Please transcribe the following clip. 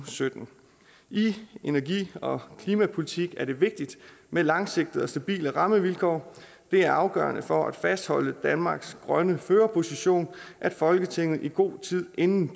og sytten i energi og klimapolitik er det vigtigt med langsigtede og stabile rammevilkår det er afgørende for at fastholde danmarks grønne førerposition at folketinget i god tid inden